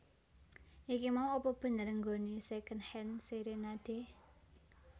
Iki mau apa bener nggone Secondhand Serenade?